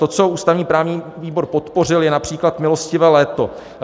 To, co ústavně-právní výbor podpořil, je například "milostivé léto".